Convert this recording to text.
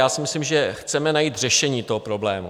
Já si myslím, že chceme najít řešení toho problému.